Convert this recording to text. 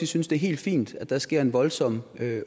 synes det er helt fint at der sker en voldsom